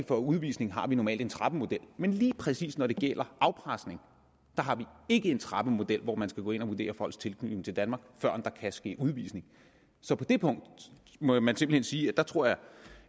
for udvisning har vi normalt en trappemodel men lige præcis når det gælder afpresning har vi ikke en trappemodel hvor man skal gå ind og vurdere folks tilknytning til danmark før der kan ske udvisning så på det punkt må man simpelt hen sige at jeg tror